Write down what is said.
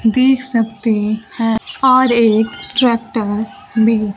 देख सकते हैं और एक ट्रैक्टर भी--